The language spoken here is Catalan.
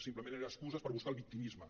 simplement eren excuses per buscar el victimisme